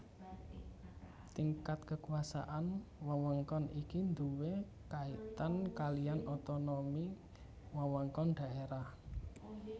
Tingkat kekuasaan wewengkon iki duwé kaitan kaliyan otonomi wewengkon daerah